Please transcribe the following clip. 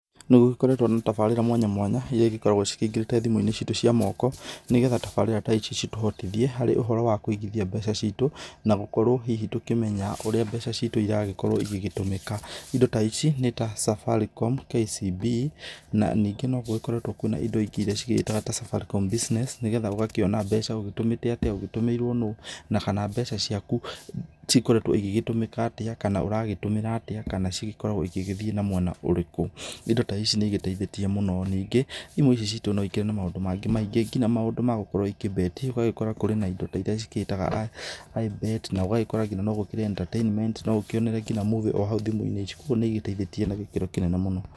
Nĩ gũgĩkoretwo na tabarĩra mwanya mwanya iria igĩkoragwo cikĩingĩrĩte thimũ-inĩ citũ cia moko nĩgetha tabarĩra ta ici citũhotithie harĩ ũhoro wa kũigithia mbeca citũ na gũkorwo hihi tũkĩmenya ũrĩa mbeca citũ iragĩkorwo igĩtũmĩka, indo ta ici nĩ ta Safaricom, KCB na nĩngĩ no gũgĩkoretwo kwĩna indo ingĩ iria cigĩĩtaga ta Safaricom business, nĩgetha ũgakĩona mbeca ũgĩtũmĩte atĩa, ũtũmĩirwo nũ na kana mbeca ciaku cikoretwo igĩgĩtũmĩka atĩa, kana ũragĩtũmĩra atĩa kana cigĩkoragwo igĩthiĩ na mwena ũrĩkũ. Indo ta ici nĩ igĩteithĩtie mũno, ningĩ imwe citũ no ikĩrĩ na maũndũ mangĩ maingĩ nginya maũndũ ma gũkorwo ikĩbet, ũgagĩkora kwĩna indo iria cigĩtaga ibet na ũgagĩkora no gũkĩrĩ entertainment no ũkĩonere nginya movie o hau thimũ-inĩ ici kũguo nĩ igĩteithĩtie na gĩkĩro kĩnene mũno.